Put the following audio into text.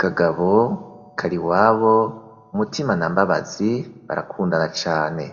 kagabo kariwabo Mutima na Mbabazi barakundana cane